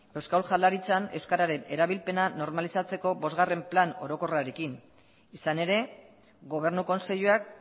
euskal jaurlaritzan euskararen erabilpena normalizatzeko bosgarren plan orokorrarekin izan ere gobernu kontseiluak